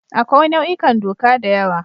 Akwai nau'ikan doka da yawa.